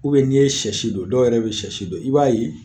n'i ye sɛ si don dɔw yɛrɛ bɛ sɛ si don i b'a ye